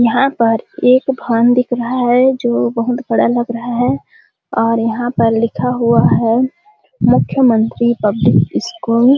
यहाँ पर एक भवन दिख रहा है जो बहुत बड़ा लग रहा है और यहाँ पर लिखा हुआ है मुख्यमंत्री पब्लिक स्कूल --